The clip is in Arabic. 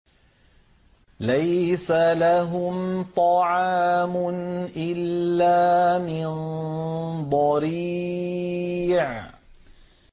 لَّيْسَ لَهُمْ طَعَامٌ إِلَّا مِن ضَرِيعٍ